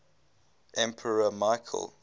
emperor michael